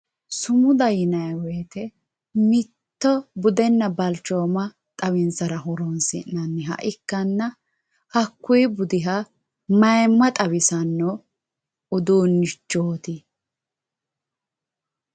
Sumuda yinay woyte mitto budenna balchooma xawinsara ho'ronsi'nanniha ikkanna hakkuy bidiha mayimmanna ayimma xawisanno uduunnichooti.